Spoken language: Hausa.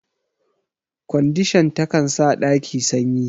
Kwandishan ta kan sa ɗaki sanyi.